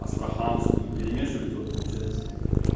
астраханскую перемешиваете вот получается